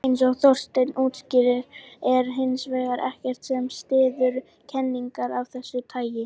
Eins og Þorsteinn útskýrir er hins vegar ekkert sem styður kenningar af þessu tagi.